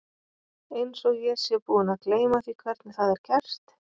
Einsog ég sé búin að gleyma því hvernig það er gert.